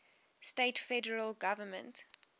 states federal government